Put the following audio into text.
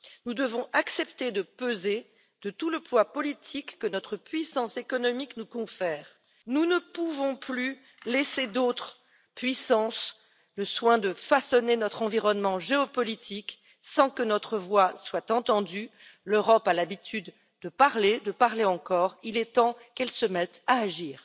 Nous devons accepter de peser de tout le poids politique que notre puissance économique nous confère. Nous ne pouvons plus laisser à d'autres puissances le soin de façonner notre environnement géopolitique sans que notre voix ne soit entendue l'Europe a l'habitude de parler, de parler encore, il est temps qu'elle se mette à agir.